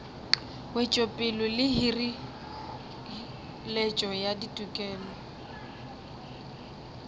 wetšopele le hireletšo ya ditokelo